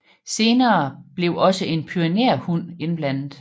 Senere blev også en pyreneerhund indblandet